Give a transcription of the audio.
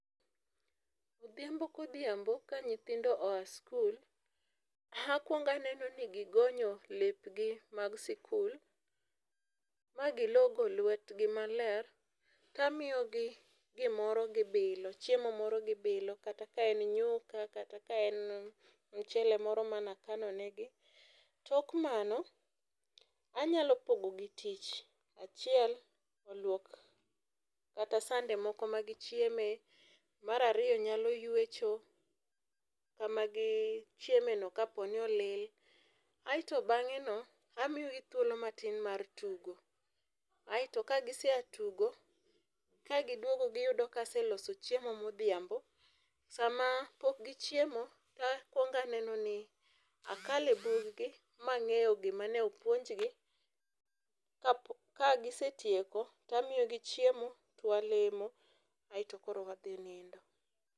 Odhiambo ka odhiambo ka nyithindo oa skul akuong aneno ni gigonyo lepgi mag sikul ma gilogo lwetgi maler to amiyogi gimoro gibilo, chiemo moro gibilo kata kaen nyuka kata kaen mchele moro mane akano negi. Tok mano anyalo pogo gi tich, achiel oluok kata sande moko ma gichieme ,mar ariyo nyalo ywecho kama gichiemo no kaponi olil, aito bange no amiyogi thuolo matin mar tugo aito ka gisea tugo ka giduogo giyudo ka aseloso chiemo ma Odhiambo. Sama pok gichiemo to akuong aneno ni akale bug gi ma angeyo gima ne opuonjgi, ka gisetieko to amiyogi chiemo to walemo aito koro wadhi nindo